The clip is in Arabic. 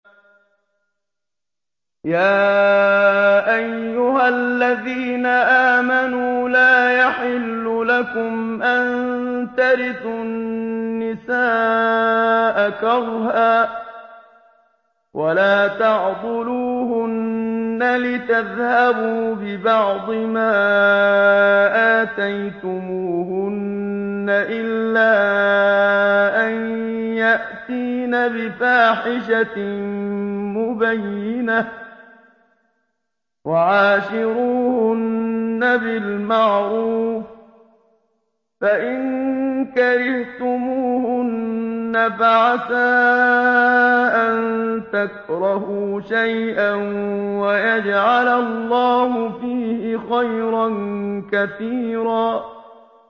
يَا أَيُّهَا الَّذِينَ آمَنُوا لَا يَحِلُّ لَكُمْ أَن تَرِثُوا النِّسَاءَ كَرْهًا ۖ وَلَا تَعْضُلُوهُنَّ لِتَذْهَبُوا بِبَعْضِ مَا آتَيْتُمُوهُنَّ إِلَّا أَن يَأْتِينَ بِفَاحِشَةٍ مُّبَيِّنَةٍ ۚ وَعَاشِرُوهُنَّ بِالْمَعْرُوفِ ۚ فَإِن كَرِهْتُمُوهُنَّ فَعَسَىٰ أَن تَكْرَهُوا شَيْئًا وَيَجْعَلَ اللَّهُ فِيهِ خَيْرًا كَثِيرًا